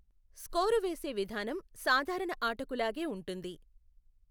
Score వేసే విధానం సాధారణ ఆటకు లాగే ఉంటుంది.